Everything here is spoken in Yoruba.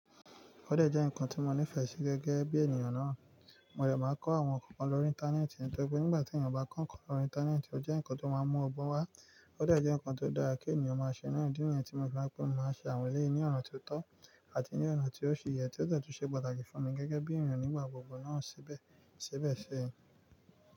Ó dẹ̀ jẹ́ nǹkan tí mo nífẹ̀ẹ́ sí gẹ́gẹ́ bí ènìyàn náà. Mo dè má nkọ́ àwọn nǹkan kan lórí Íńtánẹ́ẹ̀tì, nítorí pé nígbàtí ènìyàn bá kọ́ ǹkan lórí Íńtánẹ́ẹ̀tì, ó jẹ́ nǹkan tó máa mú ọgbon wá. Ó dẹ̀ jẹ́ nǹkan tó dára kí ènìyàn máa ṣe náà. Idi niyen tí mo ti máa ń pé, mo máa nse àwọn eléyi ní ọ̀nà tó tọ́ àti ní ọ̀nà tí ó ṣi yẹ, tí ó de tun ṣe pàtàkì fún mi gẹ́gẹ́ bí ènìyàn nígbà gbogbo náà sibsibẹ̀.